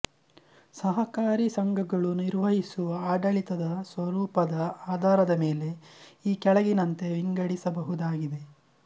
ಸಹಕಾರಿ ಸಂಘಗಳು ನಿರ್ವಹಿಸುವ ಆಡಳಿತದ ಸ್ವರೂಪದ ಆಧಾರದ ಮೇಲೆ ಈ ಕೆಳಗಿನಂತೆ ವಿಂಗಡಿಸಬಹುದಾಗಿದೆ